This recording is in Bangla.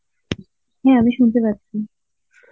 হ্যাঁ আমি শুনতে পাচ্ছি.